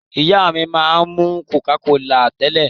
Ìyá mi máa ń mú Coca-Cola tẹ́lẹ̀.